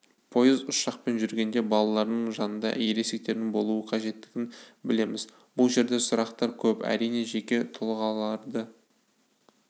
пойыз ұшақпен жүргенде балалардың жанында ересектердің болуы қажеттігін білеміз бұл жерде сұрақтар көп әрине жеке тұлғаларды